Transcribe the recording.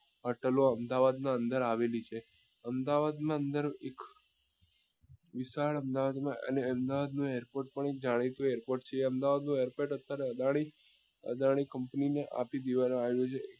hotel ઓ અમદાવાદ ના અંદર આવેલી છે અમદાવાદ માં અંદર એક વિશાળ અમદાવાદ માં અને અમદાવાદ નું airport પણ જાણીતું airport છે એ અમદાવાદ નું airport બત્યારે અદાની અદાની company ને આપી દેવા માં આવ્યું છે